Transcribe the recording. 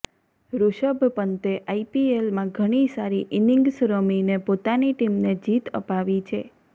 ઋષભ પંતે આઈપીએલમાં ઘણી સારી ઈનિંગ્સ રમીને પોતાની ટીમને જીત અપાવી છે